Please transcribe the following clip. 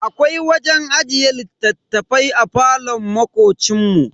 Akwai wajen ajiye littattafai a falon makocin mu.